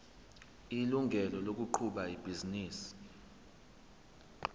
ilungelo lokuqhuba ibhizinisi